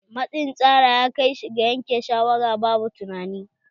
Matsin tsara ya kai shi ga yanke shawara babu tunanai.